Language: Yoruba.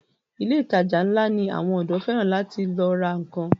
Ilé ìtajà ńlá ni àwọn ọ̀dọ́ fẹ́ràn láti lọ ra nnkan.